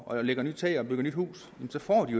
og lægger nyt tag og bygger nyt hus så får de